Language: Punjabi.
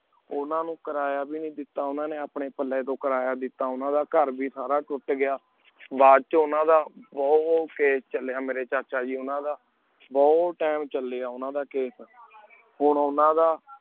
ਉਨਾ ਨੂ ਕਰਾਯਾ ਵੀ ਨੂ ਦੇਤਾ ਉਨਾ ਨੀ ਅਪਨੀ ਪਾਲੀ ਤੂੰ ਲ੍ਕ੍ਰਾਯਾ ਦੇਤਾ ਕਰ ਵੇ ਸਾਰਾ ਟੁਟ ਗਯਾ ਬਚੁਨ ਉਨਾ ਦਾ ਬੁਹਤ ਕੈਸੇ ਚਲੀ ਯਾ ਮੇਰੀ ਚਾਹਾ ਜੀ ਉਨਾ ਦਾ ਬੁਤ time ਚਲਯ ਉਨਾ ਦਾ case